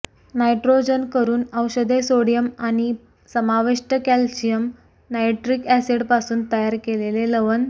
nitrogen करून औषधे sodium आणि समाविष्ट कॅल्शियम नाइट्रिक ऍसिडपासून तयार केलेले लवण